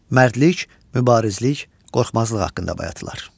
Mərdlik, mübarizlik, qorxmazlıq haqqında bayatılar.